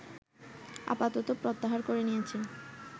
আপাতত প্রত্যাহার করে নিয়েছে